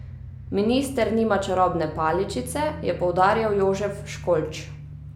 Minister nima čarobne paličice, je poudarjal Jožef Školč.